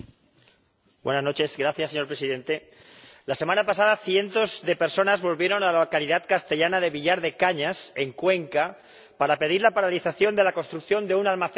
Señor Presidente, la semana pasada cientos de personas volvieron a la localidad castellana de Villar de Cañas, en Cuenca, para pedir la paralización de la construcción de un almacén de residuos nucleares.